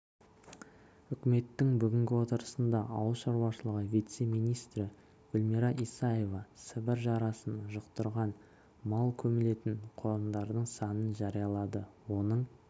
үкіметтің бүгінгі отырысында ауыл шаруашылығы вице-миристрі гүлмира исаевасібір жарасын жұқтырған мал көмілетін қорымдардың санын жариялады оның